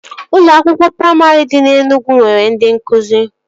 Ụlọ akwụkwọ praimarị dị na Enugwu nwere ndị nkụzi